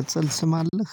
ቅጽል ስም አለህ።